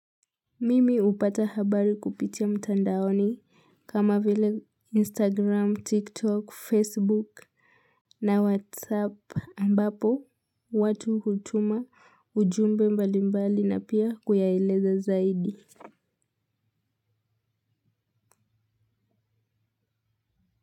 Mimi hupata habari kupitia mtandaoni kama vile instagram tiktok facebook na whatsapp ambapo watu hutuma ujumbe mbali mbali na pia kuyaeleza zaidi. Kwa hivyo.